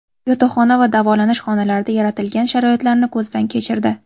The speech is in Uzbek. Yotoqxona va davolash xonalarida yaratilgan sharoitlarni ko‘zdan kechirdi.